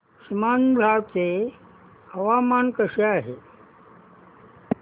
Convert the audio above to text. सीमांध्र चे हवामान कसे आहे